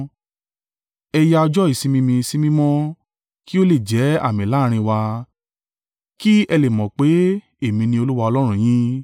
Ẹ ya ọjọ́ ìsinmi mi sí mímọ́ kí ó lè jẹ́ àmì láàrín wa, ki ẹ lè mọ̀ pé èmi ní Olúwa Ọlọ́run yín.”